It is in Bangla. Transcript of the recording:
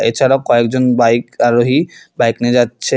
এছাড়াও কয়েকজন বাইক আরোহী বাইক নিয়ে যাচ্ছে।